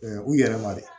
u yɛrɛma dɛ